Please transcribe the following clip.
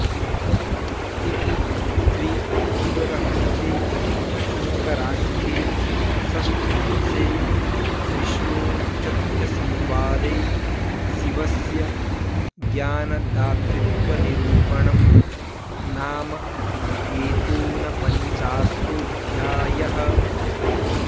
इति श्रीशिवरहस्ये शङ्कराख्ये षष्ठांशे विष्णूचथ्यसंवादे शिवस्य ज्ञानदातृत्वनिरूपणं नाम एकोनपञ्चाशोऽध्यायः